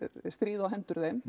stríði á hendur þeim